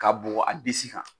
K'a bɔ a bugu a disi kan.